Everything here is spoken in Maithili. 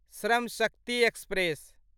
श्रम शक्ति एक्सप्रेस